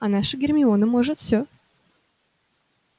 а наша гермиона может все